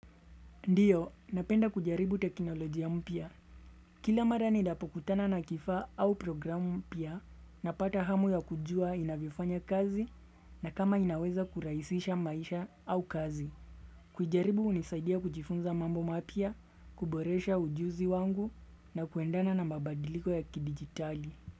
Ndiyo, napenda kujaribu teknolojia mpya. Kila mara ninapokutana na kifaa au programu mpya napata hamu ya kujua inavyofanya kazi na kama inaweza kurahisisha maisha au kazi. Kuijaribu hunisaidia kujifunza mambo mapya, kuboresha ujuzi wangu na kuendana na mabadiliko ya kidigitali.